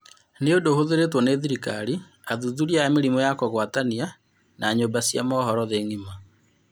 Nĩ ũndũ ũhũthĩrĩtwo nĩ thirikari, athuthuria a mĩrimũ ya kũgwatania na nyũmba cia mohoro thĩ ng'ima.